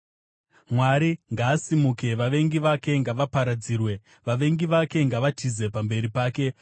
Mwari ngaasimuke, vavengi vake ngavaparadzirwe; vavengi vake ngavatize pamberi pake.